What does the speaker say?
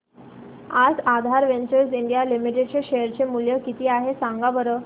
आज Aadhaar ventures India limited चे share चे मूल्य किती आहे सांगा बरं